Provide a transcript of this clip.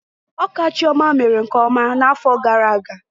Ọka Chioma mere nkeọma n'afọ gara aga